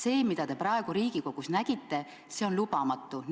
Vaat see, mida te praegu Riigikogus nägite, on lubamatu.